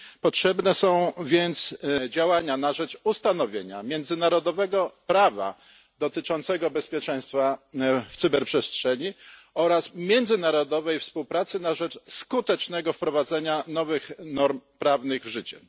Potrzebne są więc działania na rzecz ustanowienia międzynarodowego prawa dotyczącego bezpieczeństwa w cyberprzestrzeni oraz międzynarodowej współpracy na rzecz skutecznego wprowadzenia nowych norm prawnych w życie.